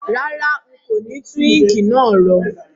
Rárá, n kò ni tun ink náà ro